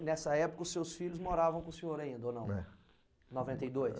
Nessa época os seus filhos moravam com o senhor ainda ou não? É. Noventa e dois?